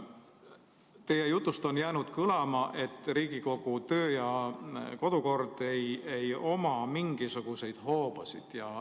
Teie jutust on jäänud kõlama, et Riigikogu kodu- ja töökord ei oma mingisuguseid hoobasid.